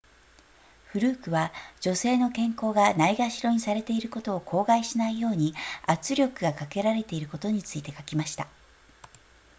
フルークは女性の健康がないがしろにされていることを口外しないように圧力がかけられていることについて書きました